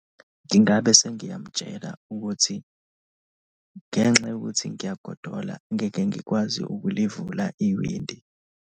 Ngingabe sengiyamtshela ukuthi ngenxa yokuthi ngiyagodola, ngeke ngikwazi ukulivula iwindi.